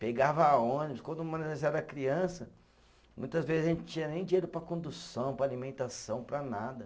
Pegava ônibus, quando era criança, muitas vezes a gente não tinha nem dinheiro para condução, para alimentação, para nada.